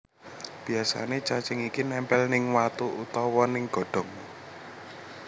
Biasané cacing iki nempel ning watu utawa ning godhong